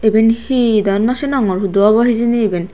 iben he do no sinogor hudu obo hijini eben.